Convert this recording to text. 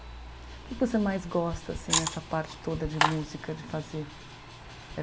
O que é que você mais gosta, assim, nessa parte toda de música, de fazer?